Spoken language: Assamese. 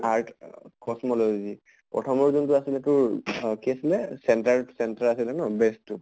earth অহ cosmology প্ৰথমৰ যোনটো আছিলে তোৰ আহ কি আছিলে center center আছিলে ন base তো?